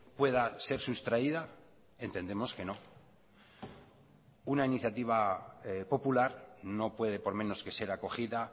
pueda ser sustraída entendemos que no una iniciativa popular no puede por menos que ser acogida